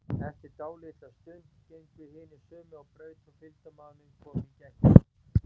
Eftir dálitla stund gengu hinir sömu á braut og fylgdarmaður minn kom í gættina.